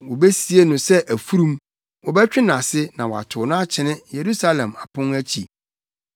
Wobesie no sɛ afurum, wɔbɛtwe nʼase na wɔatow no akyene Yerusalem apon akyi.”